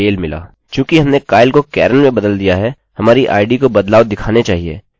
चूँकि हमने kyle को karen में बदल दिया है हमारी id को बदलाव दिखाने चाहिए